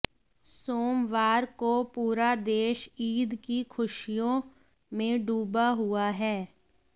सोमवार को पूरा देश ईद की खुशियों में डूबा हुआ है